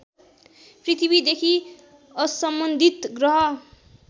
पृथ्वीदेखि असम्बन्धित ग्रह